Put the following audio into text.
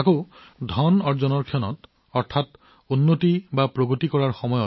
আৰু যেতিয়া আমি ধন উপাৰ্জন কৰিব লাগে অৰ্থাৎ প্ৰগতি আমি